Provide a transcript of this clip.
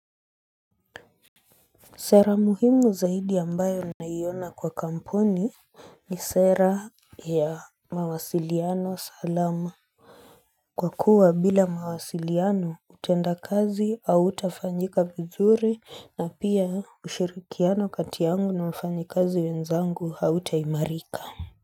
Sera muhimu zaidi ambayo naiona kwa kampuni ni sera ya mawasiliano salama kwa kuwa bila mawasiliano utendakazi hautafanyika vizuri na pia ushirikiano kati yangu na wafanyikazi wenzangu hautaimarika.